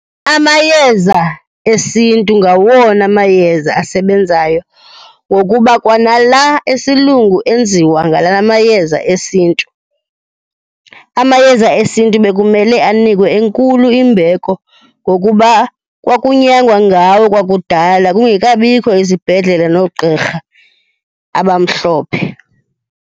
Amayeza esintu ngawona mayeza asebenzayo ngokuba kwanala esiLungu enziwa ngala mayeza esintu. Amayeza esintu bekumele anikwe enkulu imbeko ngokuba kwakunyangwa ngawo kwakudala, kungekabikho izibhedlele noogqirha abamhlophe.